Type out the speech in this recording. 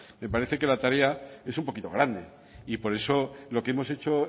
me parece que la tarea es un poquito grande y por eso lo que hemos hecho